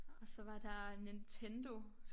Og så var der Nintendo